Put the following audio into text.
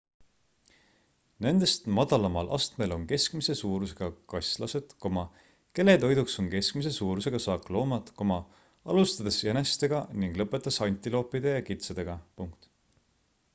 nendest madalamal astmel on keskmise suurusega kaslased kelle toiduks on keskmise suurusega saakloomad alustades jänestega ning lõpetades antiloopide ja kitsedega